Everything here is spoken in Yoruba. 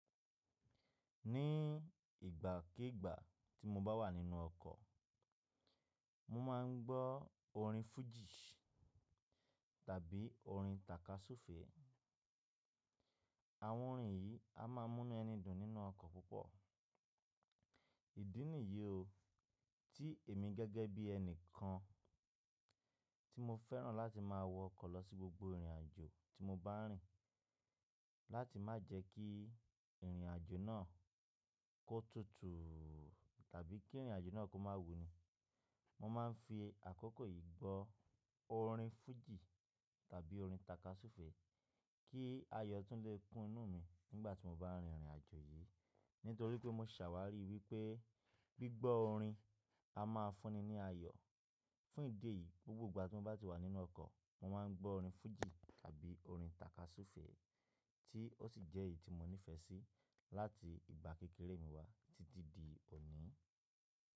Ní ìgbàkígbà tí mo bá wà nínú ọkọ̀, mo máa ń gbọ́ orin fújì tàbí orin tàkasúfèé. Àwọn orin yìí a máa mú nú ẹni dùn nínú ọkọ̀ púpọ̀. Ìdí nìyí o, tí èmi gẹ́gẹ́ bí ẹni kan tí mo fẹ́ràn láti máa wọ ọkọ̀ lọ sí gbogbo ìrìnàjò tí mo bá ń rìn. Láti má jẹ́ kí ìrìnàjò náà kó tutù tàbí kí ìrìnàjò náà kó má wuni, mo máa ń fi àkókò yìí gbọ́ orin fújì tàbí orin tàkasúfèé kí ayọ̀ tún lè kún inú mi nígbà tí mo bá ń rìn ìrìnàjò yìí. Nítorí pé mo ṣàwárí wípé gbígbọ́ orin a máa fún ni ní ayọ̀. Fún ìdí èyí, gbogbo ìgbà tí mo bá wà nínú ọkọ̀, mo máa ń gbọ́ orin fújì tàbí orin tàkasúfèé tí ó sì jẹ́ èyí tí mo nífẹ̀ẹ́ sí láti ìgbà kékeré mi wá títí di òní.